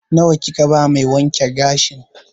Nawa kika ba mai wanke gashin?